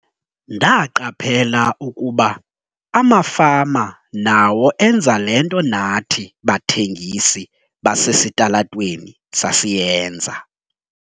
"Ndaqaphela ukuba amafama nawo enza le nto nathi bathengisi basesitalatweni sasiyenza."